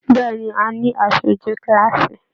Bẹ̀ẹ́ni, a ní aṣoju kilaasi.